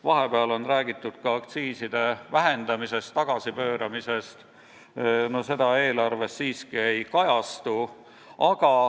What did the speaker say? Vahepeal on räägitud ka aktsiiside vähendamisest, tagasipööramisest – eelarves see siiski ei kajastu.